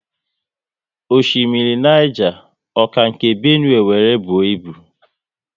Osimiri Niger, ọ ka nke Benue wéré buo ibu?